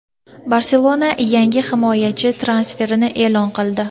"Barselona" yangi himoyachi transferini e’lon qildi.